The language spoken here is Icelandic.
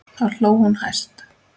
Þá hló hún hæst.